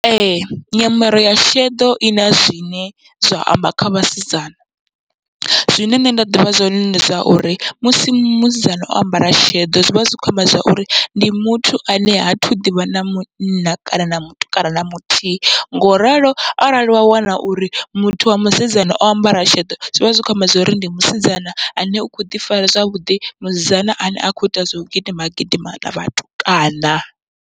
Ee nyambaro ya sheḓo ina zwine zwa amba kha vhasidzana, zwine nṋe nda ḓivha zwone ndi zwauri musi musidzana o ambara sheḓo zwivha zwi kho amba zwauri ndi muthu ane ha thu ḓivha na munna kana na mutukana na muthihi, ngoralo arali wa wana uri muthu wa musidzana o ambara sheḓo zwivha zwi kho amba zwori ndi musidzana ane u kho ḓi fara zwavhuḓi musidzana ane ha kho ita zwau gidima gidima na vhatukana.